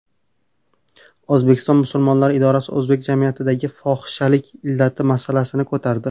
O‘zbekiston musulmonlari idorasi o‘zbek jamiyatidagi fohishalik illati masalasini ko‘tardi.